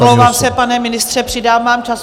Omlouvám se, pane ministře, přidám vám čas.